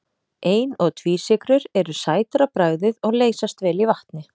Ein- og tvísykrur eru sætar á bragðið og leysast vel í vatni.